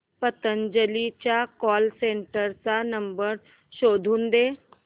पतंजली च्या call centre चा number शोधून दे